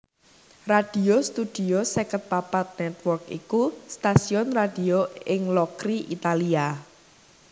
Radio Studio seket papat Network iku stasiun radio ing Locri Italia